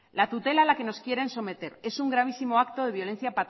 la tutela a la que nos quieren someter es un gravísimo acto de violencia